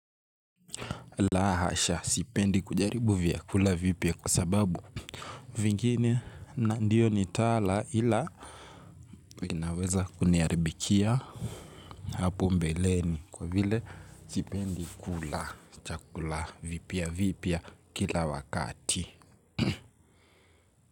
La hasha sipendi kujaribu vyakula vipya kwa sababu vingine na ndiyo nitala ila vinaweza kuniaribikia. Hapo mbeleni kwa vile sipendi kula chakula vipya vipya kila wakati.